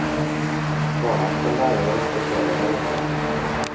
Barna skal lære å respektere hverandre.